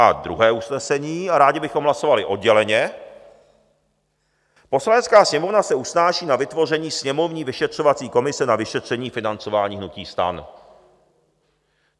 A druhé usnesení, a rádi bychom hlasovali odděleně: "Poslanecká sněmovna se usnáší na vytvoření sněmovní vyšetřovací komise na vyšetření financování hnutí STAN."